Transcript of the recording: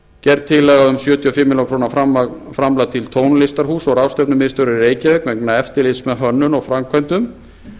gerð tillaga um sjötíu og fimm milljónir króna framlag til tónlistarhúss og ráðstefnumiðstöðvar í reykjavík vegna eftirlits með hönnun og framkvæmdum